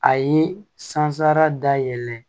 A ye san sara dayɛlɛ